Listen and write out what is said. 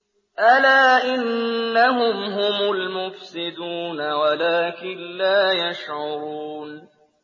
أَلَا إِنَّهُمْ هُمُ الْمُفْسِدُونَ وَلَٰكِن لَّا يَشْعُرُونَ